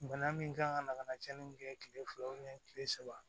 Bana min kan ka cɛnni min kɛ kile fila kile saba